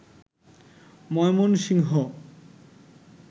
Mymensingh